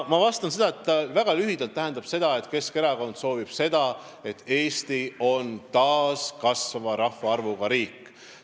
Väga lühidalt öeldes tähendab see seda, et Keskerakond soovib, et Eesti on taas kasvava rahvaarvuga riik.